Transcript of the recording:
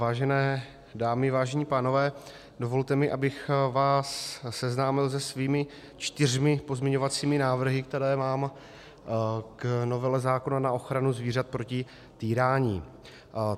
Vážené dámy, vážení pánové, dovolte mi, abych vás seznámil se svými čtyřmi pozměňovacími návrhy, které mám k novele zákona na ochranu zvířat proti týrání.